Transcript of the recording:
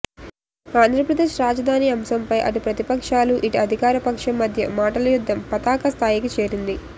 ఆంధ్రప్రదేశ్ రాజధాని అంశం పై అటు ప్రతిపక్షాలు ఇటు అధికార పక్షం మధ్య మాటల యుద్ధం పతాక స్థాయికి చేరింది